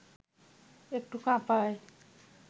একটু কাঁপায়